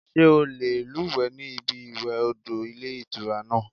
Sé o lè lúùwé ní ibi ìwè odò Ilé Ìtura náà